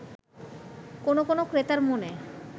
কোন কোন ক্রেতার মনে